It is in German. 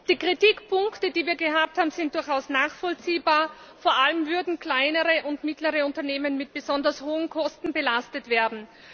Die Kritikpunkte, die wir gehabt haben, sind durchaus nachvollziehbar, vor allem würden kleinere und mittlere Unternehmen mit besonders hohen Kosten belastet werden.